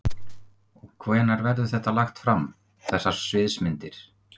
Hafsteinn: Og hvenær verður þetta lagt fram, þessar sviðsmyndir?